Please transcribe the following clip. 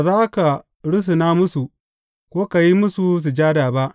Ba za ka rusuna musu, ko ka yi musu sujada ba.